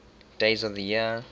days of the year